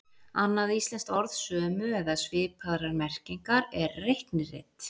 Annað íslenskt orð sömu eða svipaðrar merkingar er reiknirit.